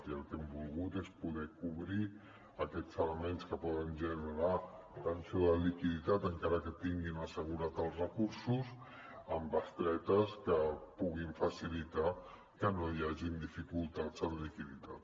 i el que hem volgut és poder cobrir aquests elements que poden generar tensió de liquiditat encara que tinguin assegurat els recursos amb bestretes que puguin facilitar que no hi hagin dificultats en liquiditat